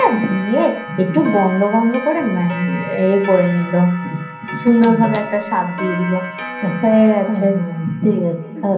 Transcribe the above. একটু গন্ধ গন্ধ করে এ করে নিলো সুন্দর ভাবে একটা স্বাদ দিয়ে দিলো হয়েগেছে ঠিকাছে